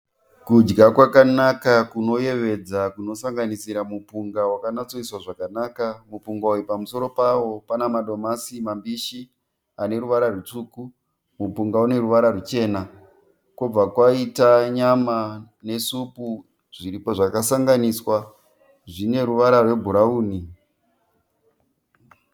Kudya kwakanaka kunoyevedza kunosanganisira mupunga wakanyatsoiswa zvakanaka. Mupunga uyu pamusoro pavo pane madomasi mabhishi ane ruvara rutsvuku. Mupunga une ruvara ruchena. Kobva kwaita nyama nesupu zvakasanganiswa zvine ruvara rwebhurauni.